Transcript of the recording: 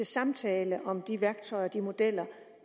samtale om de værktøjer og de modeller